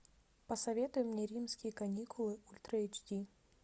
посоветуй мне римские каникулы ультра эйч ди